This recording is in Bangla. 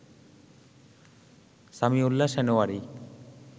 সামিউল্লাহ শেনওয়ারি